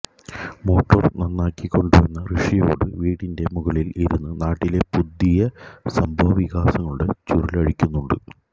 motor നന്നാക്കി കൊണ്ടുവന്ന ഋഷിയോടു വീടിന്റെ മുകളില് ഇരുന്ന് നാട്ടിലെ പുതിയ സംഭവ വികാസങ്ങളുടെ ചുരുളഴിക്കുന്നുണ്ട്